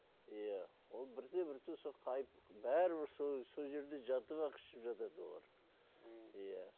иә оны бірте бірте қайтып бәрібір сол жерде жатып ақ ішіп жатады олар м иә